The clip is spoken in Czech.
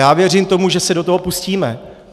Já věřím tomu, že se do toho pustíme.